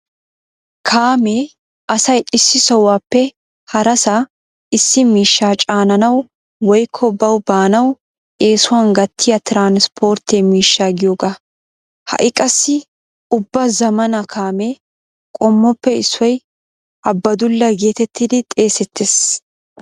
Kaamee asay issi sohuwappe harasaa issi miishshaa caananawu woykko bawu baanawu eesuwani gattiya transpportte miishsha giyooga. Ha'i qassi ubba zammaana kaame qommoppe issoy abbadulla geetettidi xeesettees.